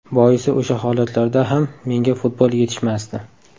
Boisi o‘sha holatlarda ham menga futbol yetishmasdi.